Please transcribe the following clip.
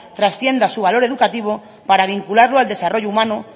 trascienda su valor educativo para vincularlo al desarrollo humano